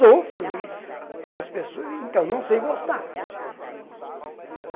Sofro, e as pessoas... Então, não sei gostar.